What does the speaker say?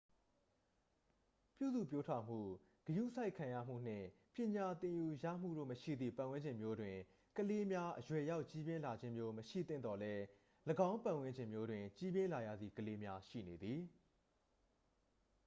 ပြုစုပျိုးထောင်မှု ဂရုစိုက်ခံရမှု နှင့် ပညာသင်ယူရမှုတို့မရှိသည့် ပတ်ဝန်းကျင်မျိုးတွင် ကလေးများ အရွယ်ရောက်ကြီးပြင်းလာခြင်းမျိုး မရှိသင့်သော်လည်း ၎င်းပတ်ဝန်းကျင်မျိုးတွင် ကြီးပြင်းလာရသည့်ကလေးများ ရှိနေသည်